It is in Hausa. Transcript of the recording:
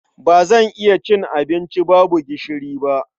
Ba zan iya cin abinci babu gishiri ba.